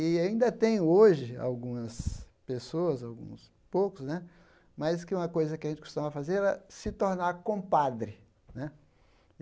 E ainda tem hoje algumas pessoas, alguns poucos né, mas que uma coisa que a gente costumava fazer era se tornar compadre né.